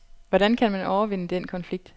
Hvordan kan man overvinde den konflikt?